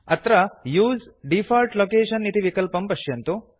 अत्र उसे default location इति विकल्पं पश्यन्तु